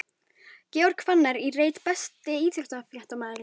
Georg Fannar í reit Besti íþróttafréttamaðurinn?